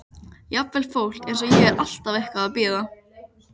Jafnvel fólk eins og ég er alltaf eitthvað að bíða.